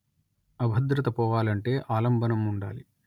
అభద్రత పోవాలంటె ఆలంబనం ఉండాలి